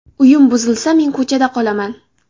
Uyim buzilsa men ko‘chada qolaman.